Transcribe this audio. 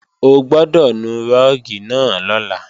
O gbọ́dọ̀ nu rúùgì náà lọ́la